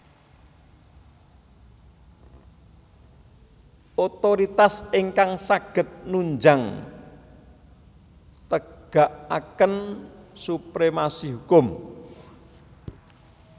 Otoritas ingkang saged nunjang tegakaken supremasi hukum